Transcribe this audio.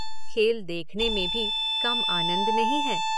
खेल देखने में भी, कम आनंद नहीं है।